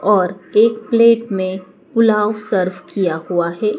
और एक प्लेट में पुलाव सर्व किया हुआ हैं।